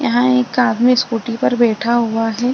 यहाँ एक आदमी स्कूटी पर बैठा हुआ है।